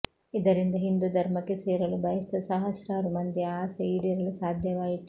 ಇದರಿಂದ ಹಿಂದೂ ಧರ್ಮಕ್ಕೆ ಸೇರಲು ಬಯಸಿದ ಸಹಸ್ರಾರು ಮಂದಿಯ ಆಸೆ ಈಡೇರಲು ಸಾಧ್ಯವಾಯಿತು